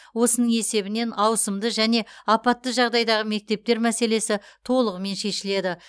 осының есебінен ауысымды және апатты жағдайдағы мектептер мәселесі толығымен шешіледі